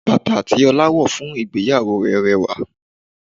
Bàtà tí Ọlá wọ̀ fún ìgbéyàwó rẹ̀ rẹwà